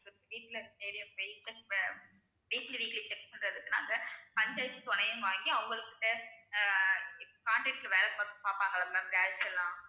வீட்டுல weekly weekly check பண்றதுக்காக hundred வாங்கி அவங்களுக்கு அஹ் இப்~ contract ல வேலை பாப்~ பாப்பாங்கல்லே ma'am girls லாம்